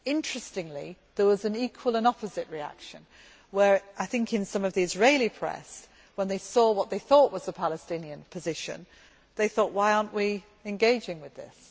Interestingly, there was an equal and opposite reaction whereby, I think in parts of the Israeli press, when they saw what they thought was a Palestinian position, they asked, why are we not engaging with this?